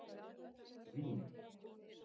Vín